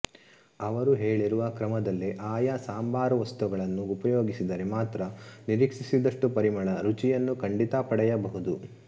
ಅವರು ಹೇಳಿರುವ ಕ್ರಮದಲ್ಲೇ ಆಯಾ ಸಾಂಬಾರವಸ್ತುಗಳನ್ನು ಉಪಯೋಗಿಸಿದರೆ ಮಾತ್ರ ನಿರೀಕ್ಷಿಸಿದಷ್ಟು ಪರಿಮಳ ರುಚಿಯನ್ನು ಖಂಡಿತ ಪಡೆಯಬಹುದು